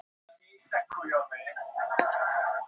Í Reykjavík er svo auðvitað Innipúkinn.